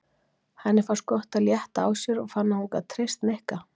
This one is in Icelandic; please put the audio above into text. Henni fannst gott að létta á sér og fann að hún gat treyst Nikka.